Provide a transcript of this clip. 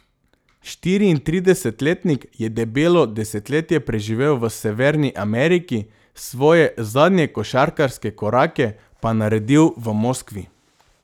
Štiriintridesetletnik je debelo desetletje preživel v Severni Ameriki svoje zadnje košarkarske korake pa naredil v Moskvi.